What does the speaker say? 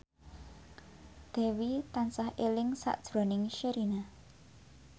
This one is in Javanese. Dewi tansah eling sakjroning Sherina